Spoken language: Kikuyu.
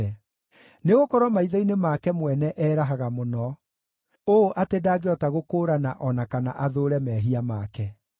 Nĩ gũkorwo maitho-inĩ make mwene erahaga mũno, ũũ atĩ ndangĩhota gũkũũrana o na kana athũũre mehia make.